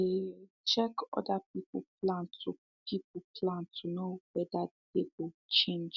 they um check other people plan to people plan to know wether dey go change